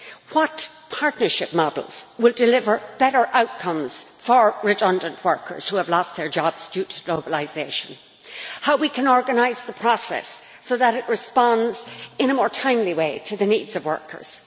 what partnership models will deliver better outcomes for redundant workers who have lost their jobs due to globalisation how we can organise the process so that it responds in a more timely way to the needs of workers